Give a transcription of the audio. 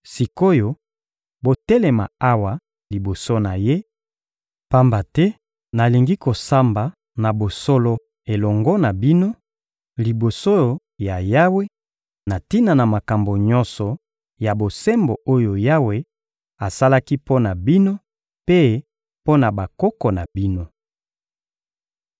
Sik’oyo, botelema awa liboso na Ye, pamba te nalingi kosamba na bosolo elongo na bino, liboso ya Yawe, na tina na makambo nyonso ya bosembo oyo Yawe asalaki mpo na bino mpe mpo na bakoko na bino.